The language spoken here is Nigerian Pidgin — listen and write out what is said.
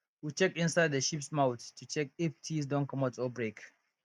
we check inside the sheeps mouth to check if teeth don commot or break